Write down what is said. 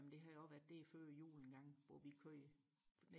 jamen det har også været der før jul engang hvor vi kørte